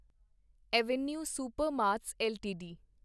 avenue Supermarts LTD